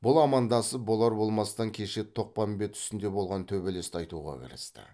бұл амандасып болар болмастан кеше тоқпамбет үстінде болған төбелесті айтуға кірісті